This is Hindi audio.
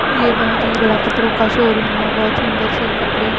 ये बहोत ही बड़ा कपड़ो का शोरूम है बहोत सुंदर से कपड़े--